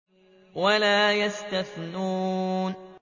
وَلَا يَسْتَثْنُونَ